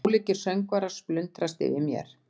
Ólíkir söngvarnir splundrast yfir mér.